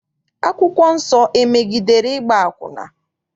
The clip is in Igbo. Akwụkwọ nsọ emegidere ịgba akwụna?